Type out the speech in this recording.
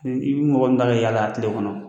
I bɛ mɔgɔ min ta ka yaala tile kɔnɔ